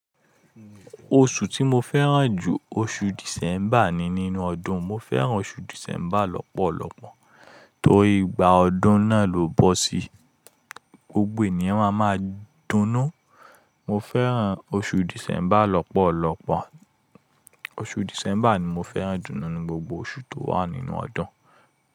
Oṣù tí mo fẹ́ràn jù oṣù December ni nínú ọdún. Mo fẹ́ràn oṣù December lọ́pọ̀lọpọ̀ torí ìgbà ọdún náà lò bọ́ sí, gbogbo ènìyàn won a máa dúnú. Mo fẹ́ràn oṣù December lọ́pọ̀lọpọ̀. Oṣù December ni mo fẹ́ràn jù nínú gbogbo oṣù tó wà nínú ọdún.